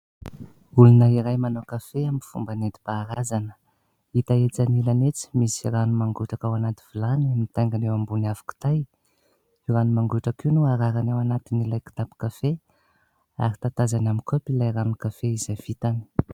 Olona iray manao kafe amin'ny fomba nentim-paharazana. Hita etsy anilany etsy misy rano mangotraka ao anaty vilany, mitaingina eo ambony afo kitay. Io rano mangotraka io no ararany ao anatin'ilay kitapon-kafe, ary tatazany amin'ny kopy ilay ranon-kafe izay vitany.